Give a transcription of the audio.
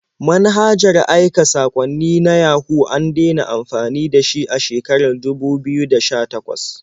Manhajar aika saƙwanni na Yahoo an dena amfani da shi a shekarar dubu biyu da sha-takwas.